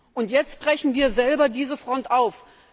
Und jetzt brechen wir selber diese Front auf!